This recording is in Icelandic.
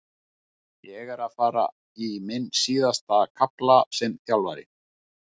Ég er að fara í minn síðasta kafla sem þjálfari.